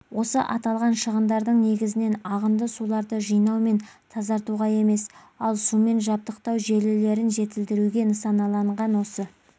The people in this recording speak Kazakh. осы аталған шығындардың негізінен ағынды суларды жинау мен тазартуға емес ал сумен жабдықтау желілерін жетілдіруге нысаналанған осы